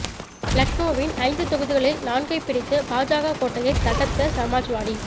லக்னோவின் ஐந்து தொகுதிகளில் நான்கைப் பிடித்து பாஜக கோட்டையைத் தகர்த்த சமாஜ்வாடி